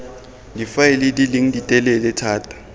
difaele di leng ditelele thata